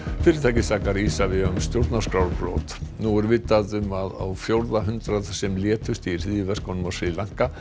og sakar Isavia um stjórnarskrárbrot nú er vitað um á fjórða hundrað sem létust í hryðjuverkunum á Sri Lanka